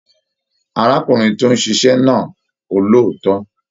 Arákùnrin tó n ṣiṣẹ náà olóòótọ.